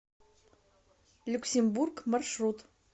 люксембург маршрут